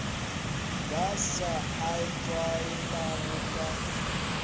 ba sa a tlwaelago ka